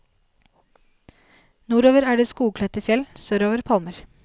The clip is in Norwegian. Nordover er det skogkledte fjell, sørover palmer.